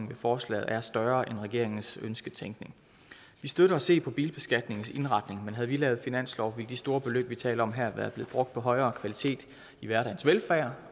ved forslaget er større end i regeringens ønsketænkning vi støtter at se på bilbeskatningens indretning men havde vi lavet en finanslov ville de store beløb vi taler om her være blevet brugt på højere kvalitet i hverdagens velfærd